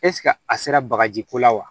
ɛsike a sera bagaji ko la wa